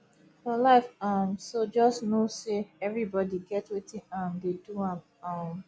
for life um so jus no sey evribodi get wetin um dey do am um